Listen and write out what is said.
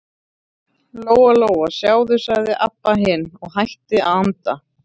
Lóa Lóa, sjáðu, sagði Abba hin og hætti að anda.